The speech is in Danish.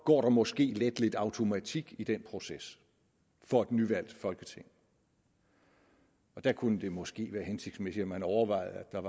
går der måske let lidt automatik i den proces for et nyvalgt folketing der kunne det måske være hensigtsmæssigt at overveje